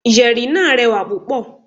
Yẹ̀rì náà rẹwà púpọ̀.